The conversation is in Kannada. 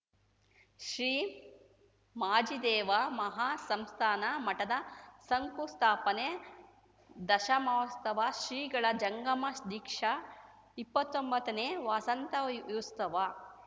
ಶ್ರೀ ಮಾಚಿದೇವ ಮಹಾ ಸಂಸ್ಥಾನ ಮಠದ ಶಂಕು ಸ್ಥಾಪನೆ ದಶಮಾಸ್ತವ ಶ್ರೀಗಳ ಜಂಗಮ ದೀಕ್ಷಾ ಇಪ್ಪತ್ತೊಂಬತ್ತನೇ ವಸಂತಯುಸ್ತವ